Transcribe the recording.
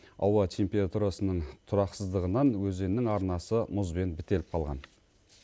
ауа температурасының тұрақсыздығынан өзеннің арнасы мұзбен бітеліп қалған